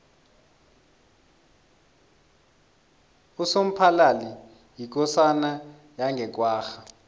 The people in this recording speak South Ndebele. usomphalali yikosana yange kwagga